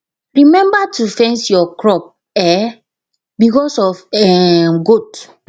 remember to fence your crop um because of um goat